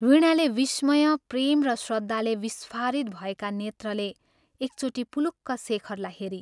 वीणाले विस्मय, प्रेम र श्रद्धाले विस्फारित भएका नेत्रले एकचोटि पुलुक्क शेखरलाई हेरी।